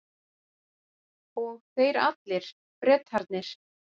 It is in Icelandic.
Og þeir allir, Bretarnir.